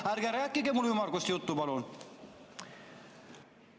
Ärge rääkige mulle ümmargust juttu, palun!